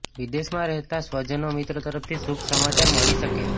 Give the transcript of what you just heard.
વિદેશમાં રહેતાં સ્વજનો મિત્રો તરફથી શુભ સમાચાર મળી શકે